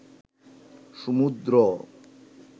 সমুদ্র